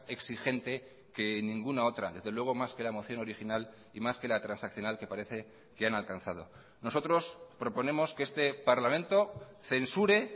exigente que ninguna otra desde luego más que la moción original y más que la transaccional que parece que han alcanzado nosotros proponemos que este parlamento censure